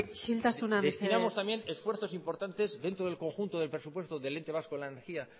isiltasuna mesedez destinamos también esfuerzos importantes dentro del conjunto de presupuestos del ente vasco de energía